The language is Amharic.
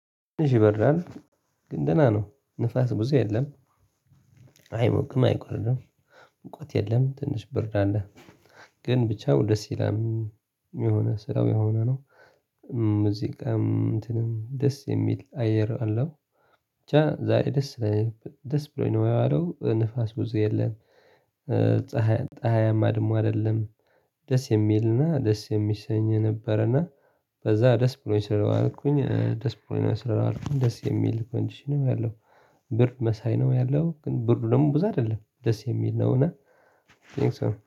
ይበራል ግን ደህና ነው ንፋስ ብዙ የለም። አይሞቅም አይቆርድም ሙቀት የለም ትንሽ ብርድ አለ። ግን ብቻው ደስ ይላል እም የሆነ ስራው የሆነ ነው። ሙዚቃም እንትንም ደስ የሚል አየር አለው ብቻ ዛሬ ደስ ደስ ብሎኝ ነው የዋለው ንፋስ ብዙ የለም ፀሀይ ጠሀያማ ደግሞ አደለም። ደስ የሚልና ደስ የሚሰኝ ነበረና በዛ ደስ ብሎኝ ስለዋልኩኝ ደስ ብሎኝ ነው ስለዋልኩኝ ደስ የሚል ኮንዲሽን ነው ያለው። ብር መሳይ ነው ያለው ግን ብሩ ደግሞ ብዛ አደለም ደስ የሚል ነው እና